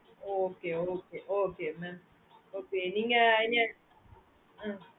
okay okay okay mam okay நீங்க